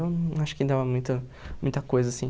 Eu acho que ainda é muita muita coisa, assim.